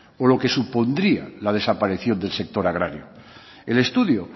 o lo que supondría la desaparición del sector agrario el estudio